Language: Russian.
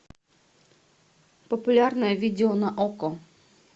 популярное видео на окко